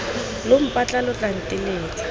lo mpatla lo tla nteletsa